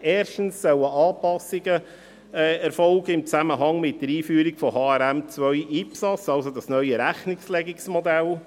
Erstens sollen Anpassungen erfolgen in Zusammenhang mit der Einführung von HRM2/IPSAS, also diesem neuen Rechnungslegungsmodell.